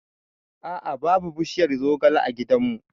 A'a' babu bishiyar zogale a gidan mu